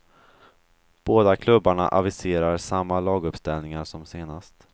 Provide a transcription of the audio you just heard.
Båda klubbarna aviserar samma laguppställningar som senast.